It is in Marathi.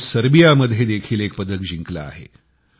तिने सर्बियामध्ये देखील एक पदक जिंकले आहे